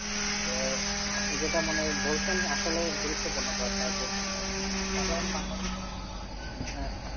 তো আপনি যেটা মানে বলছেন আসলেই গুরুত্বপূর্ণ কথা যেটা সাধারন মানুষ হম